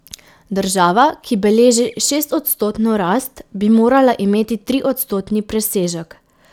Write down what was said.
Država, ki beleži šestodstotno rast, bi morala imeti triodstotni presežek.